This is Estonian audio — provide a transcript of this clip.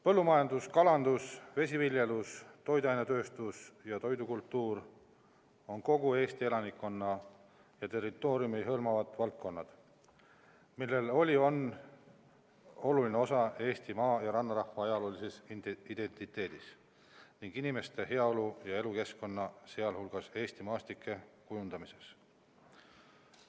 Põllumajandus, kalandus, vesiviljelus, toiduainetööstus ja toidukultuur on kogu Eesti elanikkonda ja territooriumi hõlmavad valdkonnad, millel oli ja on oluline osa Eesti maa- ja rannarahva ajaloolises identiteedis ning inimeste heaolu ja elukeskkonna, sealhulgas Eesti maastike kujundamises.